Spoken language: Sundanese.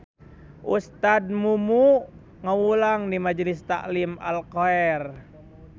Ustad Mumu ngawulang di Majlis Talim Al Khoer